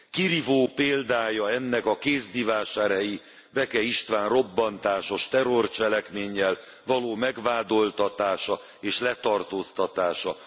Kirívó példája ennek a kézdivásárhelyi Beke István robbantásos terrorcselekménnyel való megvádoltatása és letartóztatása.